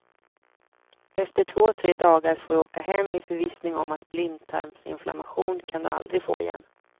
Efter två tre dagar får du åka hem i förvissning om att blindtarmsinflammation kan du aldrig få igen.